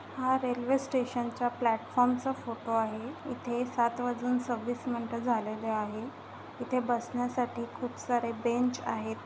हा रेल्वे स्टेशनचा प्लेटफार्म चा फोटो आहे इथे सात वाजून सव्वीस मिंट झालेले आहे इथे बसण्यासाठी खूप सारे बेंच आहेत.